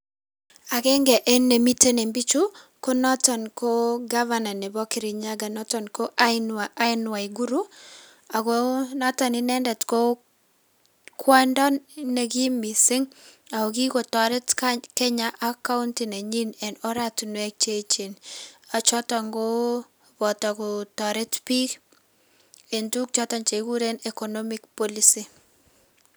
Akeng'e en nemiten en bichuu ko noton ko gavana neboo Kirinyaga noton ko Aan waiguru ak ko noton inendet ko kwondo noton nekiim mising ak ko kikotoret Kenya ak county nenyin en oratinwek cheechen choton ko botoo kotoret biik en tukuk choton chekikuren economic policy.